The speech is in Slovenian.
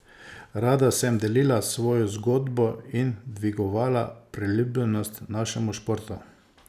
Rada sem delila svojo zgodbo in dvigovala priljubljenost našemu športu.